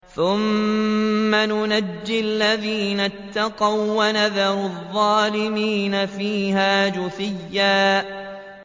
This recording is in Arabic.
ثُمَّ نُنَجِّي الَّذِينَ اتَّقَوا وَّنَذَرُ الظَّالِمِينَ فِيهَا جِثِيًّا